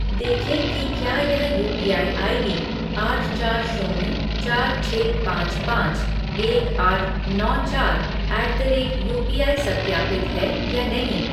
देखें कि क्या यह यूपीआई आईडी आठ चार शून्य चार छः पाँच पाँच एक आठ नौ चार ऐट द रेट यूपीआई सत्यापित है या नहीं।